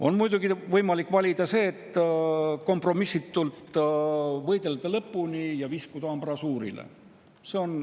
On muidugi võimalik valida see, et võidelda kompromissitult lõpuni ja viskuda ambrasuurile.